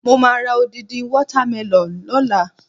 Mo máa ra odindi water melon lọ́la.